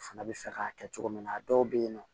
Fana bɛ fɛ k'a kɛ cogo min na a dɔw bɛ yen nɔ